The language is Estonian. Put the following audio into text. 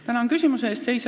Tänan küsimuse eest!